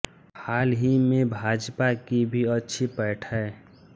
हाल ही में भाजपा की भी अच्छी पैठ है